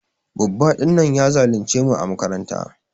Babba din nan ya zulunce mu ã makaranta.